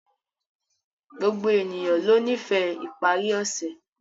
Gbogbo ènìyàn lọ nífẹ̀ iparí ọṣẹ̀